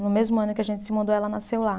No mesmo ano que a gente se mudou ela nasceu lá.